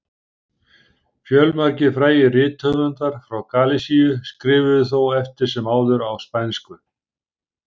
fjölmargir frægir rithöfundar frá galisíu skrifuðu þó eftir sem áður á spænsku